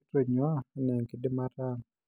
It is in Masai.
Kitonyua anaa enkidimata ang'